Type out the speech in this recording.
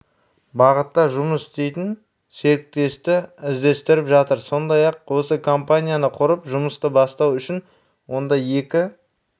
бағытта жұмыс істейтін серіктесті іздестіріп жатыр сондай-ақ осы компанияны құрып жұмысты бастау үшін онда екі